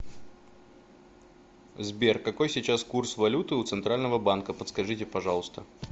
сбер какой сейчас курс валюты у центрального банка подскажите пожалуйста